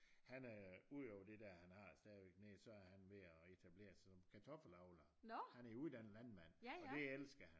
Han er øh ud over det der han har stadigvæk nede i så er han ved at etablere sådan nogle kartoffelavlere han er jo uddannet landmand og det elsker han